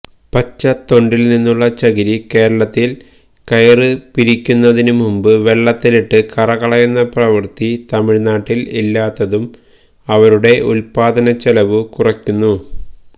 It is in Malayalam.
പച്ചതൊണ്ടില്നിന്നുള്ള ചകിരി കേരളത്തില് കയര്പിരിക്കുന്നതിനുമുമ്പ് വെള്ളത്തിലിട്ട് കറകളയുന്ന പ്രവൃത്തി തമിഴ്നാട്ടില് ഇല്ലാത്തതും അവരുടെ ഉല്പ്പാദനച്ചെലവു കുറയ്ക്കുന്നു